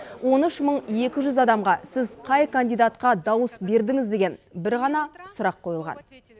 он үш мың екі жүз адамға сіз қай кандидатқа дауыс бердіңіз деген бір ғана сұрақ қойылған